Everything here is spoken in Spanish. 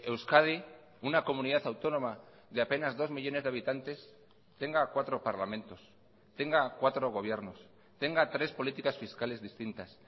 euskadi una comunidad autónoma de apenas dos millónes de habitantes tenga cuatro parlamentos tenga cuatro gobiernos tenga tres políticas fiscales distintas